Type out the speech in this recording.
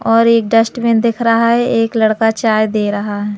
और एक डस्टबिन दिख रहा है एक लड़का चाय दे रहा है।